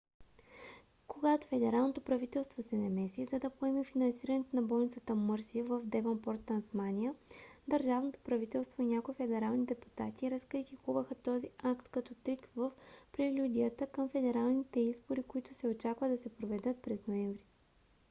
когато федералното правителство се намеси за да поеме финансирането на болницата мърси в девънпорт тасмания държавното правителство и някои федерални депутати разкритикуваха този акт като трик в прелюдията към федералните избори които се очаква да се проведат през ноември